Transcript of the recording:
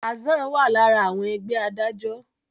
Hassan wá lára àwọn Ẹgbẹ́ adájọ́.